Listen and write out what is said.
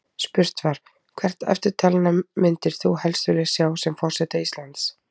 Spurt var: Hvert eftirtalinna myndir þú helst vilja sjá sem forseta Íslands?